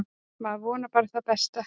Maður vonar bara það besta.